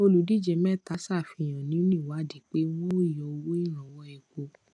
oludije meta safihan ninu iwadi pe wọn o yọ owo iranwọ epo